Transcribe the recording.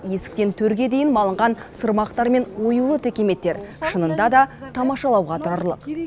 есіктен төрге дейін малынған сырмақтар мен оюлы текеметтер шынында да тамашалауға тұрарлық